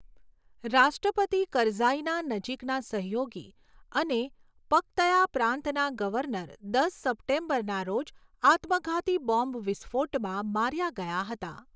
રાષ્ટ્રપતિ કરઝાઈના નજીકના સહયોગી અને પક્તયા પ્રાંતના ગવર્નર, દસ સપ્ટેમ્બરના રોજ આત્મઘાતી બોમ્બ વિસ્ફોટમાં માર્યા ગયા હતા.